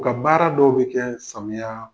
U ka baara dɔw bɛ kɛ samiya